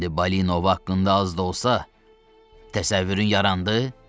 İndi Balinovda az da olsa təsəvvürün yarandı?